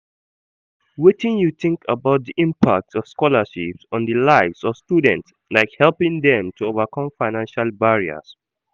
Wetin you think about di impact of scholarships on di lives of students, like helping dem to overcome financial barriers?